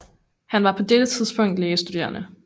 Han var på dette tidspunkt lægestuderende